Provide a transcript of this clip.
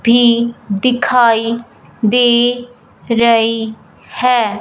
भी दिखाई दे रई है।